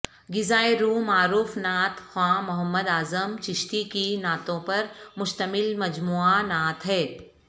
غذائے روح معروف نعت خواں محمد اعظم چشتی کی نعتوں پر مشتمل مجموعہ نعت ہے